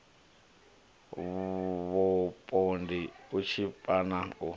vhupondi u tshipa na u